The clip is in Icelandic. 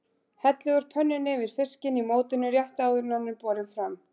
Hellið úr pönnunni yfir fiskinn í mótinu rétt áður en hann er borinn fram.